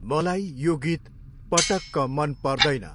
मलाई यो गीत पटक्क मन पर्दैन।